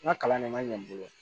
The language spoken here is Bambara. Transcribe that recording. N ka kalan de man ɲɛ n bolo